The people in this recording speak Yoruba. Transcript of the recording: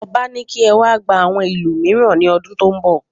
Ọba ní kí ẹ wá gba àwọn ìlù mìíràn ní ọdún tó n bọ